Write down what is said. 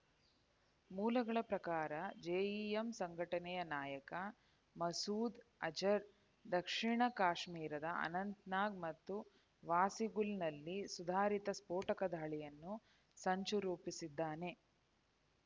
ಮೂಲಗಳ ಪ್ರಕಾರ ಜೆಇಎಂ ಸಂಘಟನೆಯ ನಾಯಕ ಮಸೂದ್ ಅಜರ್ ದಕ್ಷಿಣ ಕಾಶ್ಮೀರದ ಅನಂತ್‌ನಾಗ್ ಮತ್ತು ವಾಸಿಗುಲ್‌ನಲ್ಲಿ ಸುಧಾರಿತ ಸ್ಫೋಟಕ ದಾಳಿಯನ್ನು ಸಂಚು ರೂಪಿಸಿದ್ದಾನೆ